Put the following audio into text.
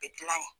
Bi dilan yen